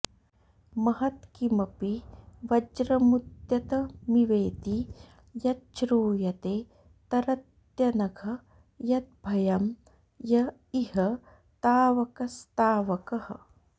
महत्किमपि वज्रमुद्यतमिवेति यच्छ्रूयते तरत्यनघ यद्भयं य इह तावकस्तावकः